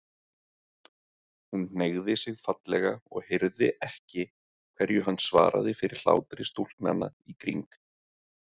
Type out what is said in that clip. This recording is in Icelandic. Hún hneigði sig fallega og heyrði ekki hverju hann svaraði fyrir hlátri stúlknanna í kring.